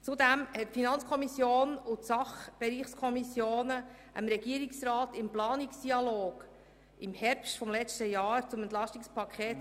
Zudem haben die FiKo und die Sachbereichskommissionen mit dem Regierungsrat im Herbst einen Planungsdialog zum EP 2018 und zum VA/AFP geführt.